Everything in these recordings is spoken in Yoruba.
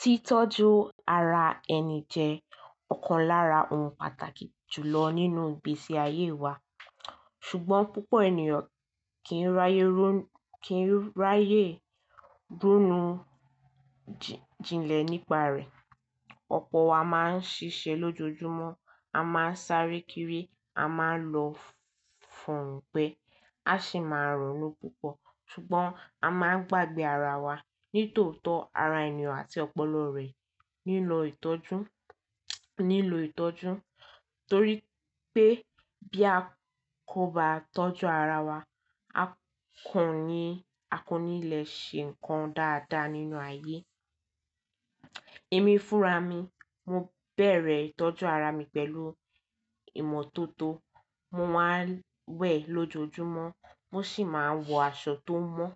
Titọju ara ẹni jẹ ọkan lára ohun pàtàkì jùlọ nínú igbesi aye wa ṣùgbọ́n púpọ ènìyàn kì ń ráyè ronú jinlẹ nípa rẹ. Ọpọ wa máa ń ṣiṣẹ lójoojúmọ́, a máa ń sáré kiri, a máa ń lọ fún gbẹ, a sì máa ronu púpọ̀ ṣùgbọ́n a máa ń gbàgbẹ ara wa nítòótọ ara ènìyàn àti ọpọlọ rẹ nílò ìtọ́jú torí pé bí a kò bá tọ́jú ara wa, a kò ní lè ṣe nǹkan dáadáa nínú ayé. Èmi Fúràmi, mo bẹ̀rẹ̀ ìtọ́jú ara mi pẹ̀lú ìmọ́tótó, mo máa n wẹ̀ lójoojúmọ́, mo sì máa ń wọ aṣọ tó mọ́.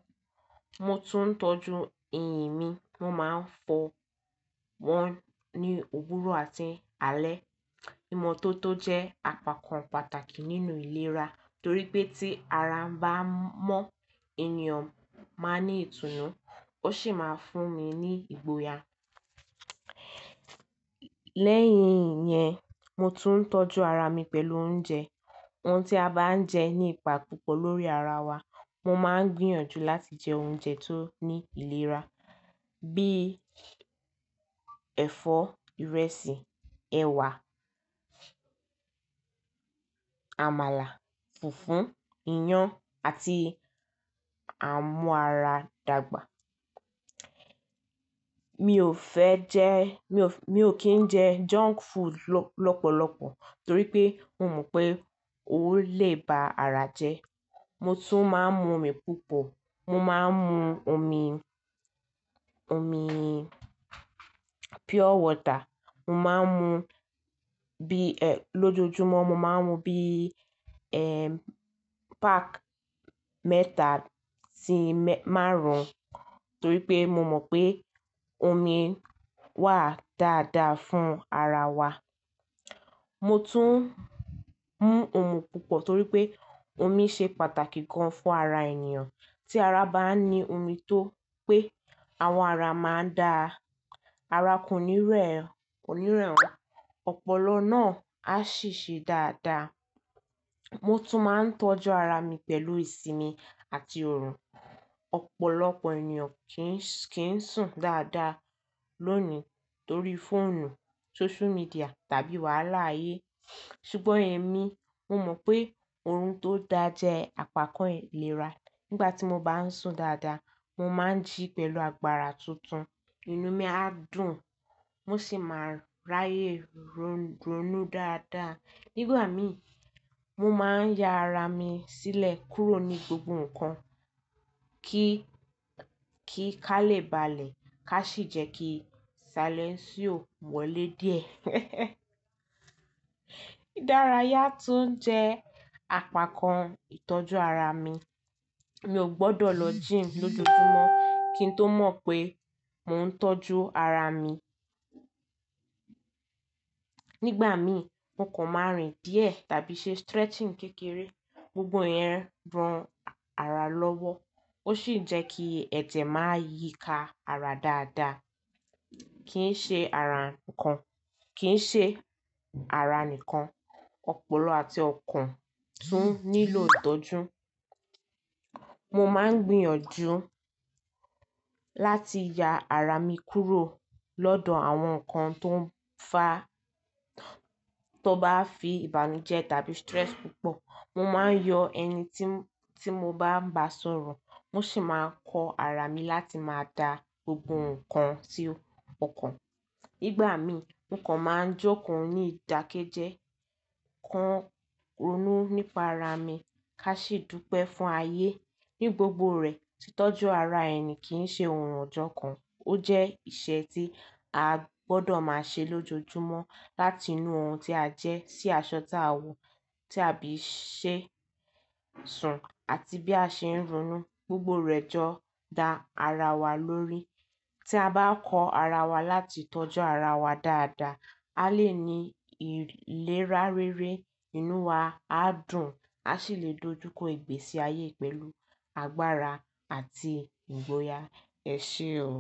Mo tún ń tọ́jú eyín mi, mo máa ń fọ wọ́n ní òwúrọ̀ àti alẹ́. Ìmọ́tótó jẹ́ àpakan pàtàkì nínú ìlera torí pé tí ara ń bá mọ́ ènìyàn máa ní ìtùnú ó sì máa fún ni ní ìgboyà. Lẹ́yìn ìyẹn, mo tún ń tọ́jú ara mi pẹ̀lú oúnjẹ. Ohun tí a bá ń jẹ ní ipa púpọ̀ lórí ara wa. Mo máa ń gbìyànjú láti jẹ oúnjẹ tó ní ìlera bí ẹ̀fọ́, ìrẹsì, ẹ̀wà, àmàlà, fùfú, iyán àti àmúara dàgbà. Mi ò kí ń jẹ junk food lọ́pọ̀lọpọ̀ torí pé mò mọ̀ pé ó lè ba ara jẹ́. Mo tún máa ń mu omi púpọ̀, mo máa ń mu omi pure water lójoojúmọ́, mo máa ń mu bí pack mẹ́tà sí márùn-ún torí pé mo mọ̀ pé omi wà dáadáa fún ara wa. Mo tún ń mu omi púpọ̀ torí pé omi ṣe pàtàkì gan fún ara ènìyàn. Tí ara bá ní omi tó pé, àwọn ara máa dà ara kò ní rẹwà, ọpọlọ náà á sì ṣe dáadáa. Mo tún máa ń tọ́jú ara mi pẹ̀lú ìsinmi àti orun. Ọ̀pọ̀lọpọ̀ ènìyàn kì ń sùn dáadáa lónìí torí fóònù, sósomidìà tàbí wàhálà aiyé ṣùgbọ́n ẹ̀mí mo mọ̀ pé oorun tó dáa jẹ́ àpakan ìlera. Nígbà tí mo bá ń sùn dáadáa, mo máa ń jí pẹ̀lú agbára tuntun, inú mi á dùn mo sì máa ń ráyè ronú dáadáa. Nígbà mi mo máa ń ya ara mi sílẹ̀ kúrò ní gbogbo nǹkan kí ká lè balẹ̀ ká sì jẹ́ kí salẹnsíò wọlé díẹ̀. Idaraya tún jẹ́ àpakan ìtọ́jú ara mi. Mi ò gbọdọ̀ lọ gym lójoojúmọ́ kí n tó mọ̀ pé mò ń tọ́jú ara mi. Nígbà mi nǹkan márìn díẹ̀ tàbí ṣe stretching kékeré gbogbo yẹn ran ara lọ́wọ́ ó sì ń jẹ́ kí ẹ̀jẹ̀ máa yíka ara dáadáa. Kì í ṣe ara nìkan, Ọpọlọ àti ọkàn tún nílò ìtọ́jú. Mo máa ń gbìyànjú láti ya ara mi kúrò lọ́dọ̀ àwọn nǹkan tó bá fi ìbànújẹ́ tàbí stress púpọ̀. Mo máa ń yọ ẹni tí mo bá ń bá sọ̀rọ̀ mo sì máa kọ ara mi láti máa dá gbogbo nǹkan sí ọkàn. Nígbà mi nǹkan máa ń jókòó ní ìdákẹ́jẹ́, kọ ronú nípa ara mi ká sì dúpẹ́ fún ayé. Ní gbogbo rẹ̀, titọ́jú ara ẹni kì í ṣe ohun ọjọ́ kan, ó jẹ́ iṣẹ́ tí a gbọdọ̀ máa ṣe lójoojúmọ́ láti inú ohun tí a jẹ sí aṣọ tí a wọ tí a bí ṣe ń sùn àti bí a ṣe ń ronú gbogbo rẹ̀ jọ dá ara wa lórí. Tí a bá kọ ara wa láti tọ́jú ara wa dáadáa, a lè ní ìlera rere, inú wa á dùn, a sì lè dojúkọ ìgbésí ayé pẹ̀lú agbára àti ìgboyà. Ẹ ṣé o.